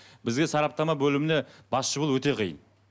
бізге сараптама бөліміне басшы болу өте қиын